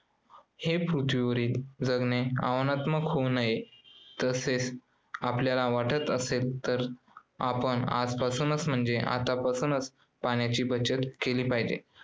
हे पृथ्वीवरील जगणे आव्हानात्मक होऊ नये असे आपल्याला वाटत असेल तर आपण आजपासूनच म्हणजे आतापासूनच पाण्याची बचत केली पाहिजे.